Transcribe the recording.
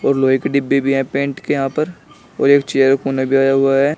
और लोहे के डिब्बे भी हैं पेंट के यहां पर और एक चेयर कोने पे आया हुआ है।